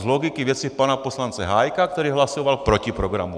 Z logiky věci pana poslance Hájka, který hlasoval proti programu.